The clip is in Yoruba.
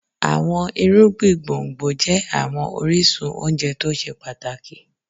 Àwọn irúgbìn gbòǹgbò jẹ́ àwọn orísun oúnjẹ tó ṣe pàtàkì.